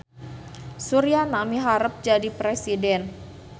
Suryana miharep jadi presiden